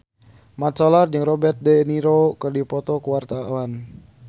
Mat Solar jeung Robert de Niro keur dipoto ku wartawan